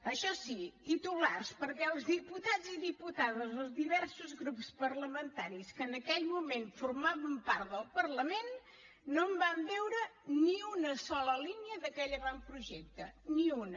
això sí titulars perquè els diputats i diputades dels diversos grups parlamentaris que en aquell moment formaven part del parlament no en van veure ni una sola línia d’aquell avantprojecte ni una